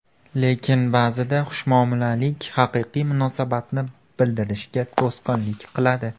Lekin ba’zida xushmuomalalik haqiqiy munosabatni bildirishga to‘sqinlik qiladi.